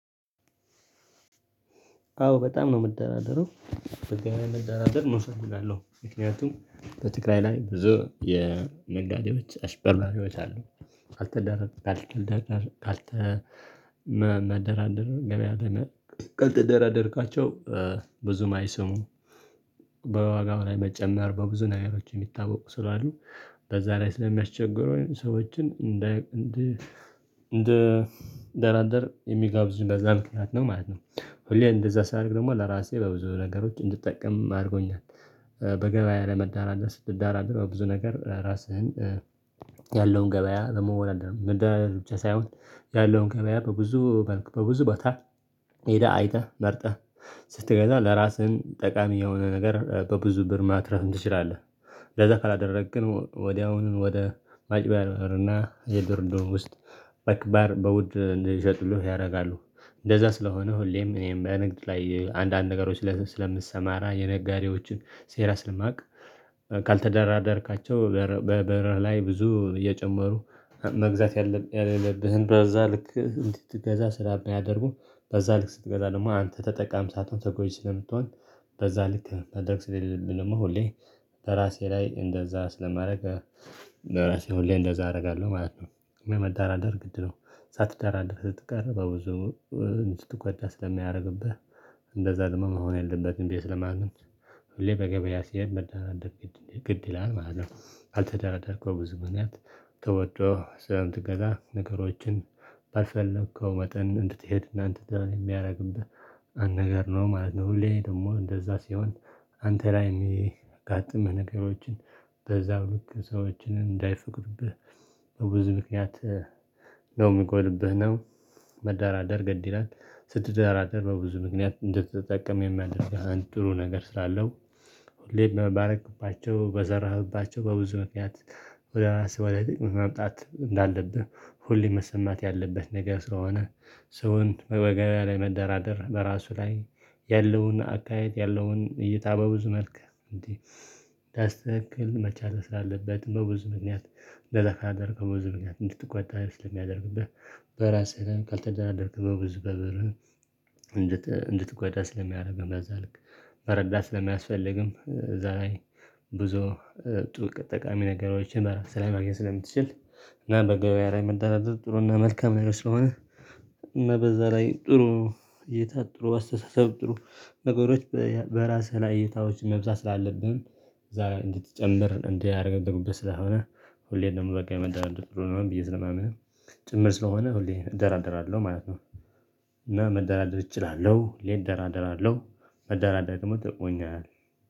አዎ በጣም ነው የምደራደረው በጣም ነው የምደራደር እፈልጋለው ምክንያቱም በትግራይ ላይ ብዙ የነጋዴዎች አጭበርባርዎች አሉ። ካልተደረግክ ካልተደረግክ ካልተ መደራደር ገበያ ደመ ካልተደራደርካቸው ብዙም አይሰሙም። በዋጋው ላይ መጨመር በብዙ ነገሮች የሚታወቁ ስላሉ በዛ ላይ ስለሚያስቸግሩ ሰዎችን እንደ እንደ እንደራደር የሚጋብዝ በዝያ ምክንያት ነው ማለት ነው። ሁሌ እንደዛ ሳደርግ ደግሞ ለራሴ በብዙ ነገሮች እንድጠቀም አድርጎኛል። በገበያ ለመዳራዳት ስትደራደር በብዙ ነገር ራስህን ያለውን ገበያ ደግሞ ወላደህ መዳራደስ ብቻ ሳይሆን ያለውን ገበያ በብዙ በልክ በብዙ ቦታ ሄደህ አይተህ መርጠህ ስትገዛ ለራስህም ጠቃሚ የሆነ ነገር በብዙ ብር ማትረፍ ትችላለህ። ለዛ ካላደረግክ ግን ወዲያውኑ ወደ ማጭበርበርና የድርድር ውስጥ መክባር በውድ ልሸጥልህ ያደርጋሉ እንደዛ ስለሆነ ሁሌም እኔም በንግድ ላይ አንዳንድ ነገሮች ስለምሰማራ የነጋዴዎችን ሴራ ስለማውቅ። ካልተደራደርካቸው በብር ላይ ብዙ እየጨመሩ መግዛት ያለብህን በዛ ልክ እንድትገዛ ስለሚያደርጉ በዛ ልክ ስትገዛ ደግሞ አንተ ተጠቃሚ ሳትሆን ስለምትሆን። በዛ ልክ ማድረግ ስለሌለብኝ ደግሞ ሁሌ በራሴ ላይ እንደዛ ስለማደርግ በራሴ ሁሌ እንደዛ አደርጋለሁ ማለት ነው። ግን መደራደር ግድ ነው ሳትዳራደር ስትቀርብ በብዙው ስትጓዳ ስለሚያደርግብህ እንደዛ ደግሞ መሆን የለበትም ቤየ ስለማምን። ሁሌ በገበያ ሲሄድ መደራደር ግድ ይላል ማለት ነው። አልተደራደርከው ብዙ ምክንያት ተወዶ ስለምትገዛ ነገሮችን ባልፈለከው መጠን እንድትሄድ እና እንድትደር የሚያደርግብህ አንድ ነገር ነው ማለት ነው። ሁሌ ደግሞ እንደዛ ሲሆን አንተ ላይ የሚያጋጥምህ ነገሮችን በዛው ልክ ሰዎችን እንዳይፈቅድብህ በብዙ ምክንያት ነው ሚቀርብህ ነው። መደራደር ግድ ይላል ስትደራደር በብዙ ምክንያት እንድትጠቀም የሚያደርግህ አንድ ጥሩ ነገር ስላለው። ሁሌ ባደረክባቸው በዘራህባቸው በብዙ ምክንያት ወደ ራስ በላይ ጥቅም ማምጣት እንዳለብህ ሁሌ መሰማት ያለበት ነገር ስለሆነ። ሰውን በገበያ ላይ መደራደር በራሱ ላይ ያለውን አካሄድ ያለውን እይታ በብዙ መልክ እንዴ ዳስ ትክክል መቻል ስላለበት በብዙ ምክንያት። እንደ ደካደር ካደረገው ብዙ ምክንያት እንድትቆጣ ልትል የሚያደርግብህ በራሴ ነህ ከልተደራደርክ በብዙ በብርህ እንድትጓዳ ስለሚያደርግ በዛ ልክ። መረዳት ስለማያስፈልግም ዛሬ ብዙ ጥሩ ተጠቃሚ ነገሮችን ስለማግኘት ስለምትችል እና በገበያ መዳደር ጥሩና መልካም ነው ስለሆነ። እና በዛ ላይ ጥሩ እይታ ጥሩ አስተሳሰብ ጥሩ ነገሮች በራስህ ላይ እይታዎች መብዛት ስላለብህም እዛ እንድትጨምር እንዲያደርግህ እንደምትገቡበት ስላለ ሁሌም ደግሞ በቃ መደራደር ጥሩ ነው ብዬ ስለማምንም ጭምር ስለሆነ ሁሌ እደራደራለሁ ማለት ነው። እና መደራደር እችላለሁ ሁሌ እደራደራለው መደራደር ደግሞ ትቆኛል